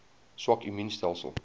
swak immuun stelsels